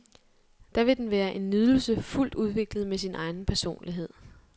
Da vil den være en nydelse, fuldt udviklet, med sin egen personlighed.